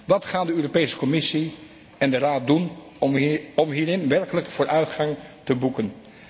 Wat gaan de Europese Commissie en de Raad doen om hierin werkelijk vooruitgang te boeken?